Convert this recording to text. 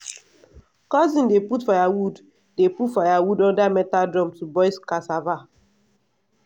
cousin dey put firewood dey put firewood under metal drum to boil cassava.